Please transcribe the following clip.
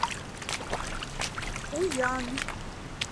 пуян